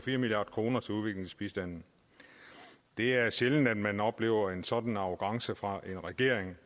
en milliard kroner til udviklingsbistanden det er sjældent at man oplever en sådan arrogance fra en regering